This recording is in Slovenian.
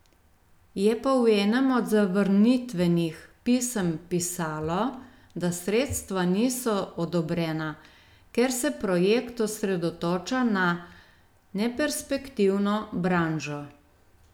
Je pa v enem od zavrnitvenih pisem pisalo, da sredstva niso odobrena, ker se projekt osredotoča na neperspektivno branžo.